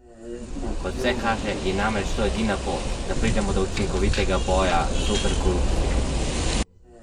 Kot vse kaže, je namreč to edina pot, da pridemo do učinkovitega boja zoper korupcijo.